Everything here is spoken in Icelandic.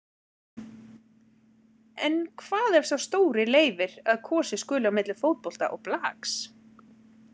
En hvað ef sá stóri leyfir að kosið skuli á milli fótbolta og blaks.